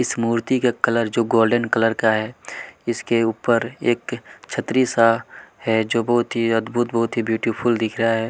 इस मूर्ति का कलर जो गोल्डन कलर का है इसके उपर एक छतरी सा है जो बहुत ही अद्भुत बहुत ही ब्यूटीफुल दिख रहा है।